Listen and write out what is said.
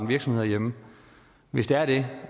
virksomhed herhjemme hvis det er det